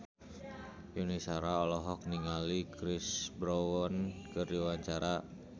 Yuni Shara olohok ningali Chris Brown keur diwawancara